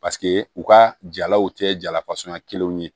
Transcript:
Paseke u ka jalaw tɛ jala kelenw ye